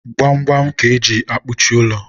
gbamgbam ka eji ekpuchi ụlọ.